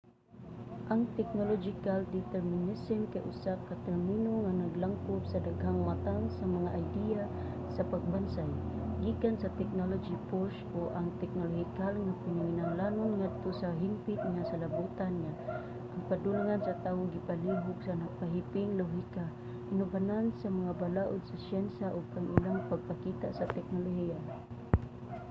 ang technological determinism kay usa ka termino nga naglangkob sa daghang matang sa mga ideya sa pagbansay gikan sa technology-push o ang teknolohikal nga panginahanglanon ngadto sa hingpit nga salabutan nga ang padulngan sa tawo gipalihok sa nagpahiping lohika inubanan sa mga balaod sa syensya ug ang ilang pagpakita sa teknolohiya